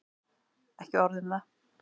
Ekki orð um það!